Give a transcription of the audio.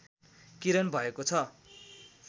किरण भएको छ